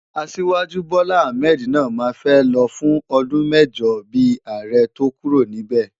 Asiwaju Bola Ahmed náà máa fẹ́ lọ fún ọdún mẹ́jọ bíi ààrẹ tó kúrò níbẹ̀.